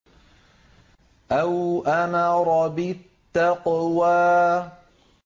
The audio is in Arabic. أَوْ أَمَرَ بِالتَّقْوَىٰ